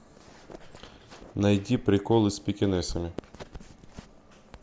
найти приколы с пекинесами